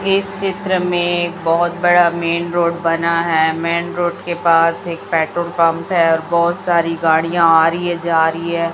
इस चित्र में बहोत बड़ा मेंन रोड बना है मेंन रोड के पास एक पेट्रोल पंप है और बहोत सारी गाड़ियाँ आ री है जा री है।